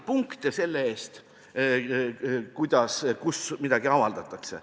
Punkte anti selle eest, kuidas ja kus midagi avaldatakse.